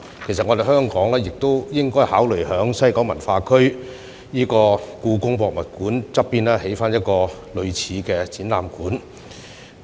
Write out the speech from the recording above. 其實，香港亦應考慮在西九文化區香港故宮文化博物館旁邊興建一個類似的展覽館。